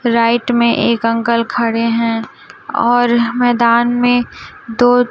right में एक uncle खड़े हैं और मैदान में दो--